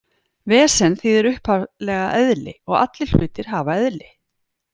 Vesen þýðir upphaflega eðli og allir hlutir hafa eðli.